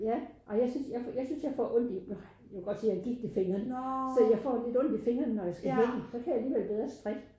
Ja og jeg synes jeg jeg synes jeg får ondt i du kan godt se jeg har gigt i fingrene så jeg får lidt ondt i fingrene når jeg skal hækle så kan jeg alligevel bedre strik